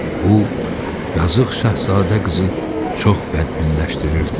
Bu yazıq Şahzadə qızı çox bədbinləşdirirdi.